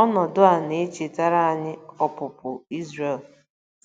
Ọnọdụ a na-echetara anyị Ọpụpụ Izrel